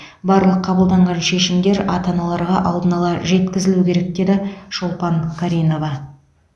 барлық қабылданған шешімдер ата аналарға алдын ала жеткізілуі керек деді шолпан каринова